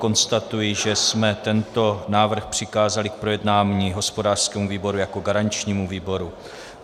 Konstatuji, že jsme tento návrh přikázali k projednání hospodářskému výboru jako garančnímu výboru.